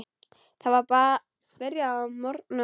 Það var byrjað að morgna.